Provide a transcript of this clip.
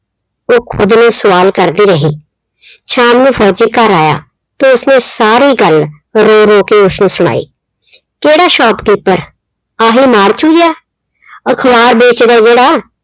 ਉਹ ਖੁਦ ਨੂੰ ਸਵਾਲ ਕਰਦੀ ਰਹੀ। ਸ਼ਾਮ ਨੂੰ ਫੌਜੀ ਘਰ ਆਇਆ ਤੇ ਉਸਨੇ ਸਾਰੀ ਗੱਲ ਰੋ ਰੋ ਕੇੇ ਉਸਨੂੰ ਸੁਣਾਈ। ਕਿਹੜਾ shopkeeper ਆਹੀ ਜਾ, ਅਖ਼ਬਾਰ ਵੇਚਦਾ ਜਿਹੜਾ,